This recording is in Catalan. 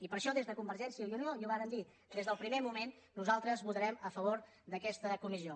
i per això des de convergència i unió i ho vàrem dir des del primer moment nosaltres votarem a favor d’aquesta comissió